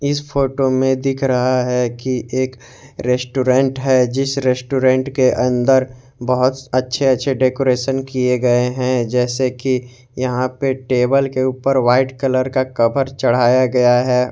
इस फोटो में दिख रहा है की एक रेस्टोरेंट है जिस रेस्टोरेंट के अंदर बहोत अच्छे अच्छे डेकोरेशन किए गए हैं जैसे कि यहां पे टेबल ऊपर व्हाइट कलर का कवर चढ़ाया गया है।